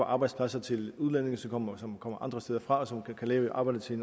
arbejdspladser til udlændinge som kommer som kommer andre steder fra og som kan lave arbejdet til